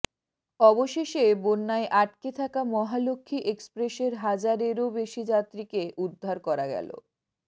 অবশেষে বন্যায় আটকে থাকা মহালক্ষ্মী এক্সপ্রেসের হাজারেরও বেশি যাত্রীকে উদ্ধার করা গেল